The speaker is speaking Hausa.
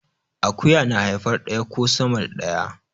Akuya na haifar daya ko sama da daya